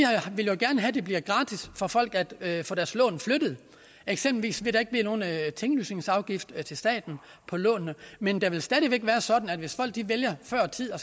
ville gerne have at det bliver gratis for folk at få deres lån flyttet eksempelvis ville blive nogen tinglysningsafgift til staten på lånene men det vil stadig væk være sådan at hvis folk vælger før tid at